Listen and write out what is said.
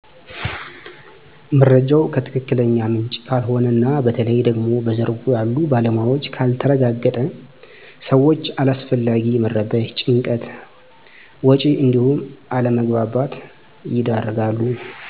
መረጃው ከትክክለኛ ምንጭ ካልሆነ እና በተለይ ደግሞ በዘርፉ ያሉ ባለሞያዎች ካልተረጋገጠ ሰወች ለአላስፈላጊ መረበሽ፣ ጭንቀት፣ ወጭ እንዲሁም አለመግባባት ይዳረጋሉ።